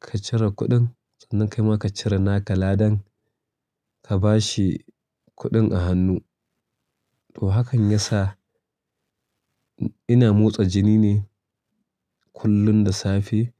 ka cire kudin sannan kaima ka cire naka ladan ka bashi kuɗin a hannu. To hakan yasa ina motsa jini ne kullum da safe